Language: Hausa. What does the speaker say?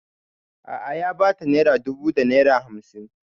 A'a ya ba ta naira dubu da naira hamsin